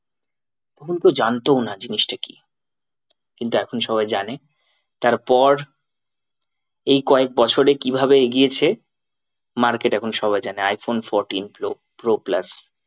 তখন কেউ জানতোও না জিনিসটা কি কিন্তু এখন সবাই জানে তারপর এই কয়েক বছরে কিভাবে এগিয়েছে market এখন সবাই জানে iPhone fourteen pro, pro plus